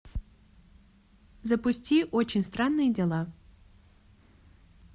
запусти очень странные дела